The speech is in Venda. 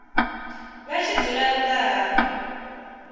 vha tshi dzula nnḓa ha